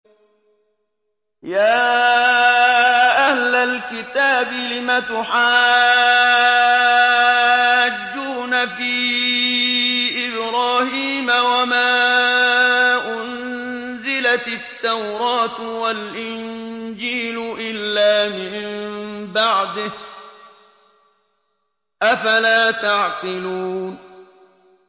يَا أَهْلَ الْكِتَابِ لِمَ تُحَاجُّونَ فِي إِبْرَاهِيمَ وَمَا أُنزِلَتِ التَّوْرَاةُ وَالْإِنجِيلُ إِلَّا مِن بَعْدِهِ ۚ أَفَلَا تَعْقِلُونَ